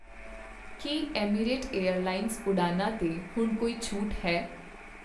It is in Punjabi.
ਕੀ ਅਮੀਰਾਤ ਏਅਰਲਾਈਨਜ਼ ਉਡਾਣਾਂ 'ਤੇ ਹੁਣ ਕੋਈ ਛੋਟ ਹੈ?